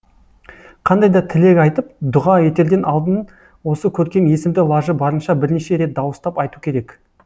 қандай да тілек айтып дұға етерден алдын осы көркем есімді лажы барынша бірнеше рет дауыстап айту керек